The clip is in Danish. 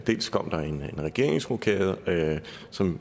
dels kom der en regeringsrokade som